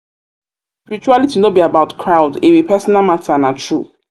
spirituality no be about crowd; e be personal matter na true.